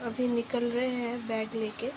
अभी निकल रहे हैं बैग लेके।